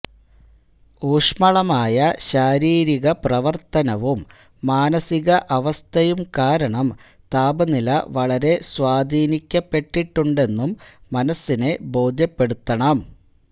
ഊഷ്മളമായ ശാരീരിക പ്രവർത്തനവും മാനസിക അവസ്ഥയും കാരണം താപനില വളരെ സ്വാധീനിക്കപ്പെട്ടിട്ടുണ്ടെന്നും മനസ്സിനെ ബോധ്യപ്പെടുത്തണം